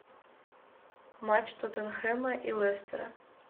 матч тоттенхэма и лестера